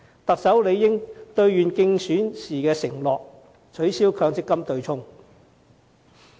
特首理應兌現競選時的承諾，取消強積金對沖機制。